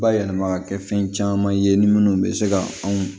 Bayɛlɛma ka kɛ fɛn caman ye ni minnu bɛ se ka anw